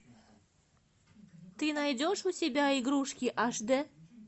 ты найдешь у себя игрушки аш дэ